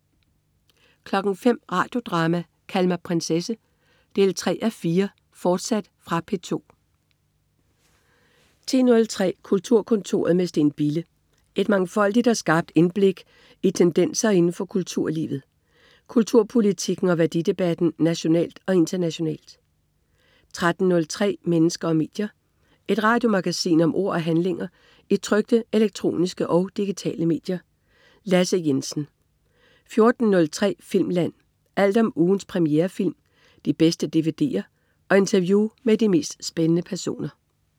05.00 Radio Drama: Kald mig prinsesse 3:4, fortsat. Fra P2 10.03 Kulturkontoret med Steen Bille. Et mangfoldigt og skarpt indblik tendenser inden for kulturlivet, kulturpolitikken og værdidebatten nationalt og internationalt 13.03 Mennesker og medier. Et radiomagasin om ord og handlinger i trykte, elektroniske og digitale medier. Lasse Jensen 14.03 Filmland. Alt om ugens premierefilm, de bedste dvd'er og interview med de mest spændende personer